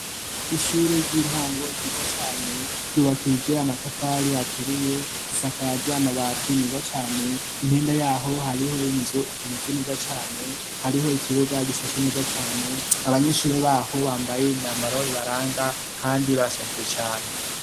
Ishure ry'intango ryiza cane, ryubakije amatafari aturiye isakaje amabati meza cane, impande yaho hariho nzu imeze neza cane, hariho ikibuga gisashe neza cane, abanyeshure baho bambaye imyambaro ibaranga kandi barashajije cane.